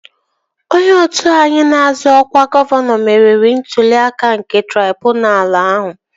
Onye otu anyị na-azọ ọkwa gọvanọ meriri n'ntụli aka nke traibunalu ahụ